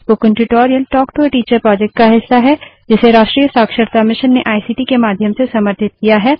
spoken tutorial talk to a teacher project का हिस्सा है जिसे राष्ट्रीय शिक्षा मिशन ने आईसीटी के माध्यम से समर्थित किया है